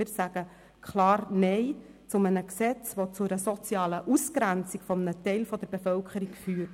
Wir sagen klar Nein zu einem Gesetz, das zu einer sozialen Ausgrenzung eines Teils der Bevölkerung führt.